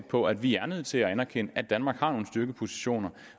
på at vi er nødt til at anerkende at danmark har nogle styrkepositioner